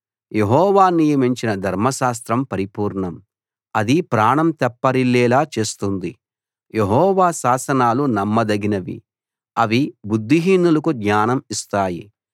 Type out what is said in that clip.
యెహోవా నియమించిన ధర్మశాస్త్రం పరిపూర్ణం అది ప్రాణం తెప్పరిల్లేలా చేస్తుంది యెహోవా శాసనాలు నమ్మదగినవి అవి బుద్ధిహీనులకు జ్ఞానం ఇస్తాయి